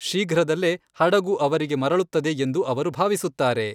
ಶೀಘ್ರದಲ್ಲೇ ಹಡಗು ಅವರಿಗೆ ಮರಳುತ್ತದೆ ಎಂದು ಅವರು ಭಾವಿಸುತ್ತಾರೆ.